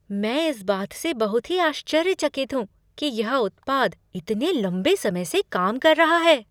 मैं इस बात से बहुत ही आश्चर्यचकित हूँ कि यह उत्पाद इतने लंबे समय से काम कर रहा है।